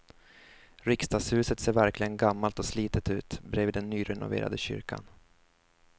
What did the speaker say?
Riksdagshuset ser verkligen gammalt och slitet ut bredvid den nyrenoverade kyrkan.